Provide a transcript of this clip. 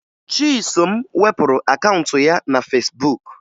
Chisom wepụrụ akaụntụ ya na Fesbuk